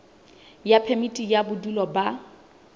ya phemiti ya bodulo ba